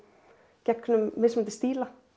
gegnum mismunandi stíla